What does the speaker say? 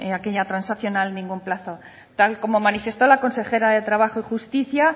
aquella transaccional ningún plazo tal como manifestó la consejera de trabajo y justicia